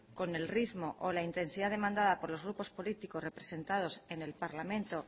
con el ritmo o la intensidad demandada por los grupos políticos representados en el parlamento